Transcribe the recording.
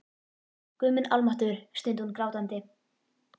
Guð minn almáttugur, stundi hún grátandi.